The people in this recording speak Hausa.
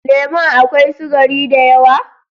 Lemon a kawai sugari da yawa?